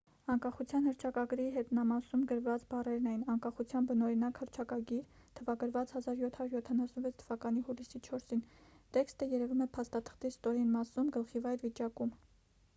անկախության հռչակագրի հետնամասում գրված բառերն էին անկախության բնօրինակ հռչակագիր թվագրված 1776 թվականի հուլիսի 4-ին տեքստը երևում է փաստաթղթի ստորին մասում գլխիվայր վիճակում